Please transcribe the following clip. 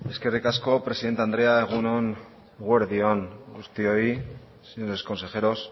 eskerrik asko presidente andrea eguerdi on guztioi señores consejeros